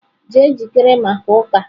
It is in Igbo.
Jee jikere maka uka!.